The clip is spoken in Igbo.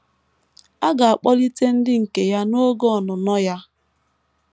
A ga - akpọlite ndị nke ya n’oge ọnụnọ ya.